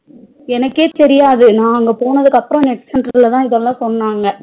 எனக்கே தெரியாது நா அங்க போனதுக்கு அப்பறம் net center ல இதல சொன்னங்க